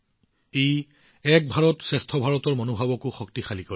ইও এক ভাৰতশ্ৰেষ্ঠ ভাৰতৰ মনোভাৱ শক্তিশালী কৰে